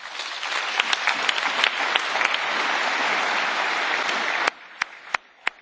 Thank you, Prime Minister Ratas, and you have our good wishes and support.